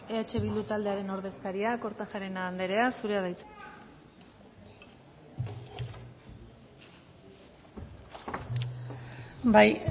eh bildu taldearen ordezkaria kortajarena anderea zurea da hitza bai